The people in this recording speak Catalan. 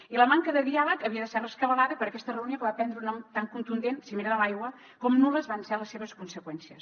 i la manca de diàleg havia de ser rescabalada per aquesta reunió que va prendre un nom tan contundent cimera de l’aigua com nul·les van ser les seves conseqüències